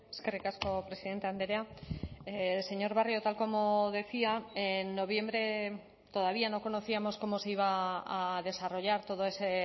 eskerrik asko presidente andrea señor barrio tal como decía en noviembre todavía no conocíamos cómo se iba a desarrollar todo ese